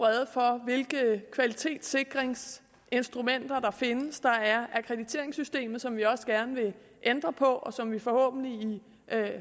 rede for hvilke kvalitetssikringsinstrumenter der findes der er akkrediteringssystemet som vi også gerne vil ændre på og som vi forhåbentlig i